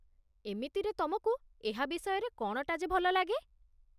ଏମିତିରେ ତମକୁ ଏହା ବିଷୟରେ କ'ଣଟା ଯେ ଭଲ ଲାଗେ?